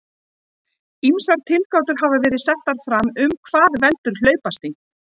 Ýmsar tilgátur hafa verið settar fram um hvað veldur hlaupasting.